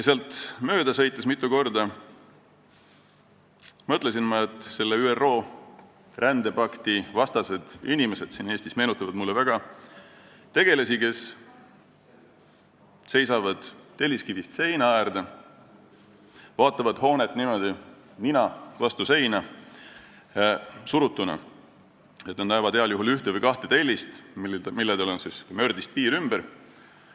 Sealt mööda sõites mõtlesin ma mitu korda, et ÜRO rändepakti vastu olevad inimesed siin Eestis meenutavad mulle väga tegelasi, kes seisavad telliskivist seina äärde, vaatavad hoonet niimoodi nina vastu seina surutuna, nii et nad näevad heal juhul ühte või kahte tellist, millel on mördist piir ümber.